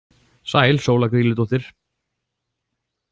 Sæl Sóla Grýludóttir!